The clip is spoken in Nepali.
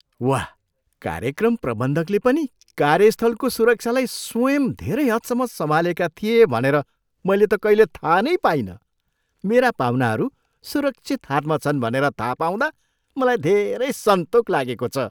वाह, कार्यक्रम प्रबन्धकले पनि कार्यस्थलको सुरक्षालाई स्वयं धेरै हदसम्म सम्हालेका थिए भनेर मैले त कहिल्यै थाहा नै पाइनँ! मेरा पाहुनाहरू सुरक्षित हातमा छन् भनेर थाहा पाउँदा मलाई धेरै सन्तोक लागेको छ।